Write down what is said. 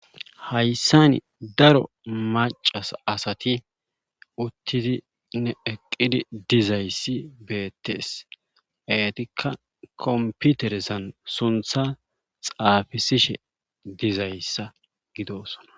Hayssani daro macas asati uttidi ne eqqidi dizayssi beettees eetikka komputerezan suntha xaafisishe dizayssa gidosona.